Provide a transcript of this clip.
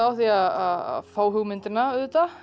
á því að fá hugmyndina